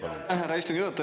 Aitäh, härra istungi juhataja!